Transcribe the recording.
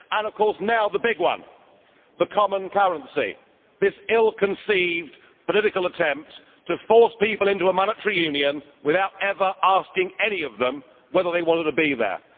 and, of course, now the big one the common currency, this ill conceived political attempt to force people into a monetary union without ever asking any of them whether they wanted to be there.